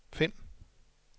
find